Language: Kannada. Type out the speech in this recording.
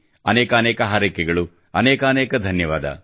ಅನೇಕಾನೇಕ ಹಾರೈಕೆಗಳು ಅನೇಕಾನೇಕ ಧನ್ಯವಾದ